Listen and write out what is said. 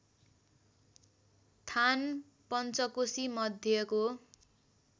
थान पन्चकोशी मध्यको